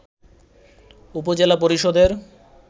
উপজেলা পরিষদের